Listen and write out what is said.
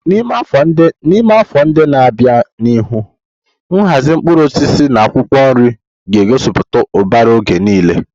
N'ime afọ ndị na-abịa n'ihu, nhazi mkpụrụ osisi na akwụkwọ nri ga-egosiputa ụbara oge niile.